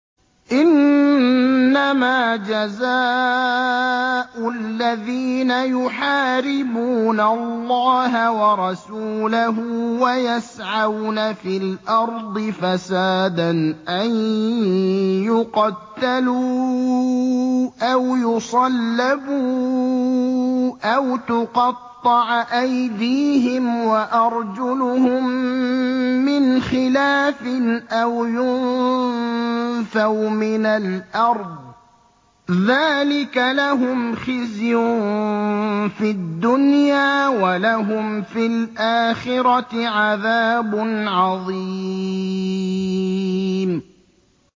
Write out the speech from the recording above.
إِنَّمَا جَزَاءُ الَّذِينَ يُحَارِبُونَ اللَّهَ وَرَسُولَهُ وَيَسْعَوْنَ فِي الْأَرْضِ فَسَادًا أَن يُقَتَّلُوا أَوْ يُصَلَّبُوا أَوْ تُقَطَّعَ أَيْدِيهِمْ وَأَرْجُلُهُم مِّنْ خِلَافٍ أَوْ يُنفَوْا مِنَ الْأَرْضِ ۚ ذَٰلِكَ لَهُمْ خِزْيٌ فِي الدُّنْيَا ۖ وَلَهُمْ فِي الْآخِرَةِ عَذَابٌ عَظِيمٌ